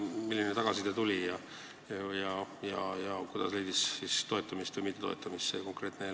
Milline tagasiside tuli ja kas see eelnõu leidis toetamist või mittetoetamist?